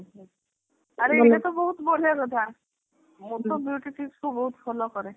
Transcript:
ଆରେ ଏଇଟା ତ ବହୁତ ବଢିଆ କଥା ମୁଁ ତ beauty tips କୁ ବହୁତ follow କରେ।